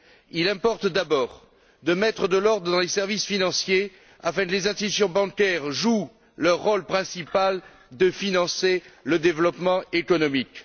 Il importe d'abord de mettre de l'ordre dans les services financiers afin que les institutions bancaires jouent leur rôle principal, qui est de financer le développement économique.